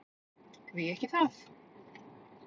Því ekki það!